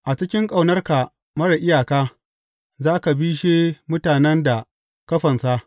A cikin ƙaunarka marar iyaka, za ka bishe mutanen da ka fansa.